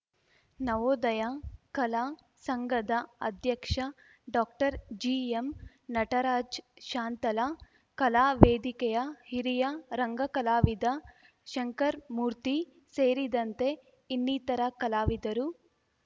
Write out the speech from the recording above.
ನವೋದಯ ಕಲಾ ಸಂಘದ ಅಧ್ಯಕ್ಷ ಡಾಕ್ಟರ್ ಜಿಎಂ ನಟರಾಜ್‌ ಶಾಂತಲಾ ಕಲಾ ವೇದಿಕೆಯ ಹಿರಿಯ ರಂಗಕಲಾವಿದ ಶಂಕರ್ ಮೂರ್ತಿ ಸೇರಿದಂತೆ ಇನ್ನಿತರ ಕಲಾವಿದರು